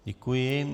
Děkuji.